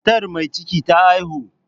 Matar mai ciki ta haihu.